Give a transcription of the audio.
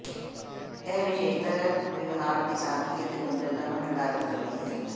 ਇਹ ਵਿਸ਼ੇਸ਼ਤਾ ਵਿਵਹਾਰ ਦੀ ਸਾਦਗੀ ਅਤੇ ਗੁੰਝਲਤਾ ਨੂੰ ਨਿਰਧਾਰਤ ਕਰਦੀ ਹੈ